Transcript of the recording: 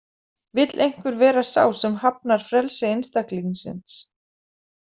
Vill einhver vera sá sem hafnar frelsi einstaklingsins?